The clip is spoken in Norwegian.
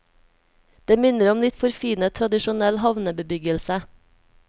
Det minner om litt forfinet tradisjonell havnebebyggelse.